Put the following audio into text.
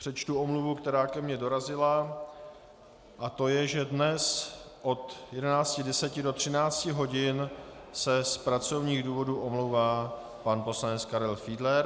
Přečtu omluvu, která ke mně dorazila, a to je, že dnes od 11.10 do 13 hodin se z pracovních důvodů omlouvá pan poslanec Karel Fiedler.